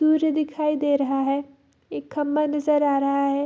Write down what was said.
सूर्य दिखाई दे रहा है एक खंभा नजर आ रहा है।